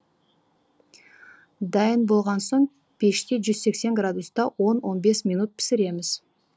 дайын болған соң пеште жүз сексен градуста он он бес минут пісіреміз